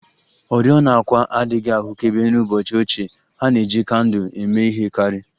Oriọna àkwà adịghị ahụkebe n'ụbọchị ochie, ha na-eji kandụl eme ihe karị